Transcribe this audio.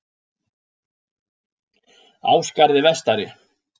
Ásgarði vestari